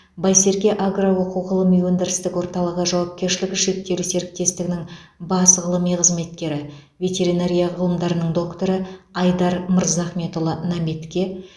байсерке агро оқу ғылыми өндірістік орталығы жауапкершілігі шектеулі серіктестігінің бас ғылыми қызметкері ветеринария ғылымдарының докторы айдар мырзахметұлы наметке